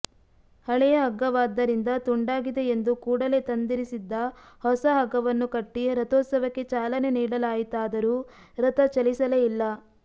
ಹಳೆಯ ಹಗ್ಗವಾದ್ದರಿಂದ ತುಂಡಾಗಿದೆ ಎಂದು ಕೂಡಲೇ ತಂದಿರಿಸಿದ್ದ ಹೊಸ ಹಗ್ಗವನ್ನು ಕಟ್ಟಿ ರಥೋತ್ಸವಕ್ಕೆ ಚಾಲನೆ ನೀಡಲಾಯಿತಾದರೂ ರಥ ಚಲಿಸಲೇ ಇಲ್ಲ